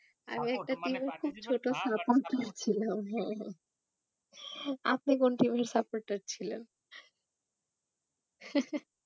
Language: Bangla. আমি একটা team এর খুব ছোট supporter ছিলাম আপনি কোন team এর supporter ছিলেন?